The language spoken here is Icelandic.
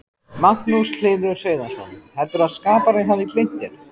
Magnús Hlynur Hreiðarsson: Heldurðu að skaparinn hafi gleymt þér?